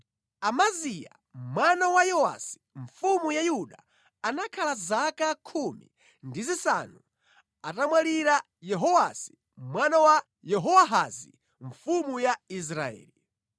Amaziya mwana wa Yowasi mfumu ya Yuda anakhala zaka khumi ndi zisanu atamwalira Yehowasi mwana wa Yehowahazi mfumu ya Israeli.